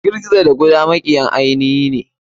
Gizo gizo da kuda makiyan ainihine.